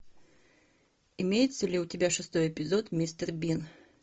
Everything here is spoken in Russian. имеется ли у тебя шестой эпизод мистер бин